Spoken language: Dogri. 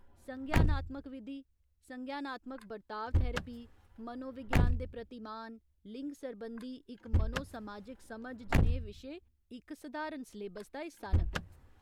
संज्ञानात्मक विधि, संज्ञानात्मक बर्ताव थेरेपी, मनोविज्ञान दे प्रतिमान, लिंग सरबंधी इक मनो समाजिक समझ जनेहे विशे इक सधारण सलेबस दा हिस्सा न।